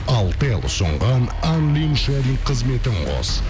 алтел ұсынған ан лин шали қызметін қос